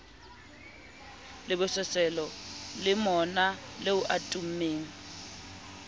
lebososelo le monaleo a tummeng